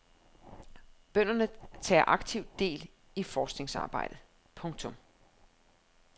Bønderne tager aktivt del i forskningsarbejdet. punktum